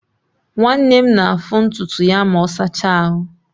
Nwanne m na-afụ ntutu ya ma ọ sachaa ahụ.